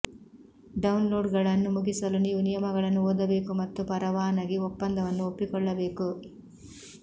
ಡೌನ್ಲೋಡ್ಗಳನ್ನು ಮುಗಿಸಲು ನೀವು ನಿಯಮಗಳನ್ನು ಓದಬೇಕು ಮತ್ತು ಪರವಾನಗಿ ಒಪ್ಪಂದವನ್ನು ಒಪ್ಪಿಕೊಳ್ಳಬೇಕು